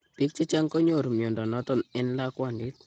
Biik chechang konyoru mnyondo noton en lakwandit ,